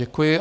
Děkuji.